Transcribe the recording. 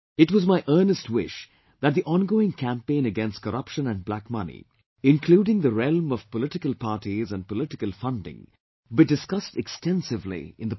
It was my earnest wish that the ongoing campaign against corruption and black money, including the realm of political parties and political funding, be discussed extensively in the Parliament